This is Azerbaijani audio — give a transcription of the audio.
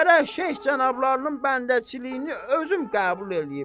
Gərək Şeyx cənablarının bəndəçiliyini özüm qəbul eləyim.